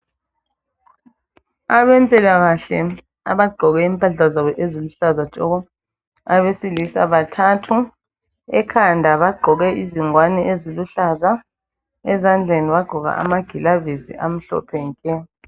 Abempilakahle abagqoke impahla zabo eziluhlaza tshoko. Abesilisa bathathu, ekhanda bagqoke izingwane eziluhlaza, ezandleni bagqoke amagilavisi amhlophe nke.